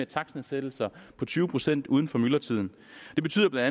takstnedsættelser på tyve procent uden for myldretiden det betyder bla at